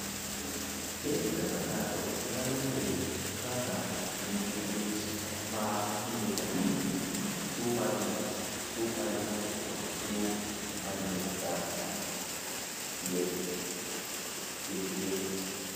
"Ere kaka ng’ato nyalo ng’eyo ka ng’ato nigi liet ma kinde ka kinde, tuo mar ng’ut, tuo mar ng’ut, kod tuo mar ng’ut dhako (PFAPA)?"